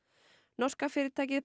norska fyrirtækið